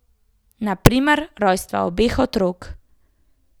Na primer rojstva obeh otrok.